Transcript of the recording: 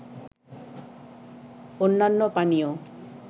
অন্যান্য পানীয়